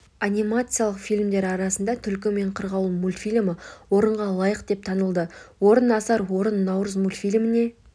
анимациялық фильмдер арасында түлкі мен қырғауыл мультфильмі орынға лайық деп танылды орын асар орын наурыз мультфильміне